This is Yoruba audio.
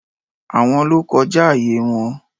Àwọn ló kọjá ààyè wọn